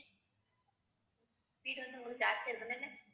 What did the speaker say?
இது வந்து உங்களுக்கு